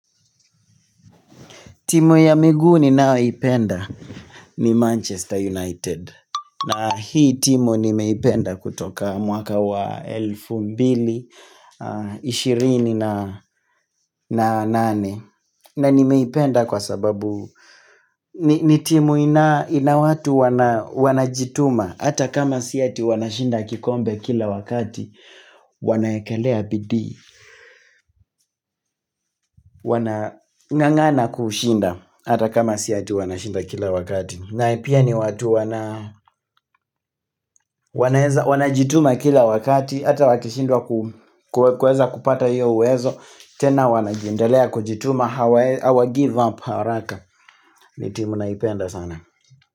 Timu ya miguu ninayoipenda ni Manchester United. Na hii timu nimeipenda kutoka mwaka wa elfu mbili, ishirini na nane. Na nimeipenda kwa sababu ni timu ina ina watu wanajituma hata kama si eti wanashinda kikombe kila wakati wanaekelea bidii Wanang'ang'ana kushinda hata kama si eti wanashinda kila wakati na pia ni watu wana wana jituma kila wakati hata wakishindwa ku kuweza kupata hiyo uwezo tena wanaendelea kujituma hawa hawagive up haraka. Ni timu naipenda sana.